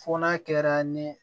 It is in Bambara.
Fo n'a kɛra ni